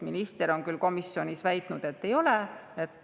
Minister on küll komisjonis väitnud, et ei ole.